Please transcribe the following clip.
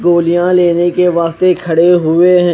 ट्रोलिया लेने के वास्ते खडे हुए है।